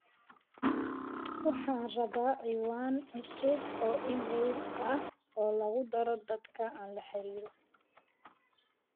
waxaan rabaa ciwaan cusub oo iimayl ah oo lagu daro dadka aan la xiriiro